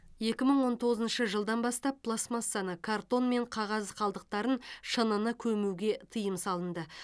екі мың он тоғызыншы жылдан бастап пластмассаны картон мен қағаз қалдықтарын шыныны көмуге тыйым салынды